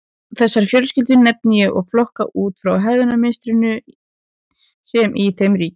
Þessar fjölskyldur nefni ég og flokka út frá hegðunarmynstrinu sem í þeim ríkir.